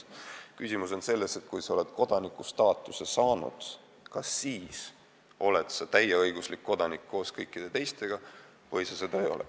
Küsimus on selles, et kui sa oled kodaniku staatuse saanud, kas sa oled siis täieõiguslik kodanik nagu kõik teised või sa seda ei ole.